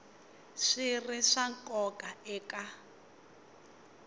swi ri swa nkoka eka